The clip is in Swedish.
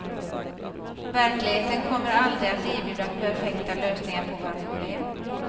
Verkligheten kommer aldrig att erbjuda perfekta lösningar på våra problem.